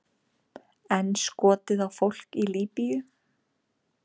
Enn skotið á fólk í Líbýu